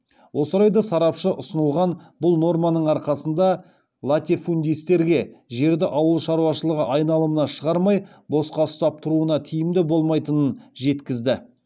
осы орайда сарапшы ұсынылған бұл норманың арқасында латифундистерге жерді ауыл шаруашылығы айналымына шығармай босқа ұстап тұруына тиімді болмайтынын жеткізді